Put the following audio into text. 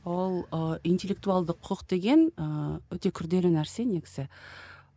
ол ыыы интеллектуалды құқық деген ыыы өте күрделі нәрсе негізі